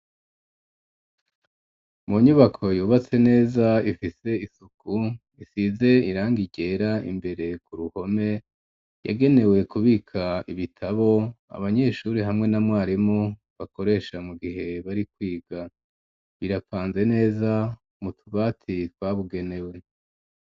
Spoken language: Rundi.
Mu nyubako yubatse neza ifise isuku isize irangi ryera imbere ku ruhome yagenewe kubika ibitabo abanyeshuri hamwe na mwarimu bakoresha mu gihe bari kwiga birapanze neza mu tubati twabugenewe.